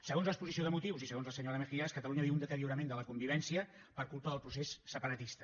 segons l’exposició de motius i segons la senyora mejías catalunya viu un deteriorament de la convivència per culpa del procés separatista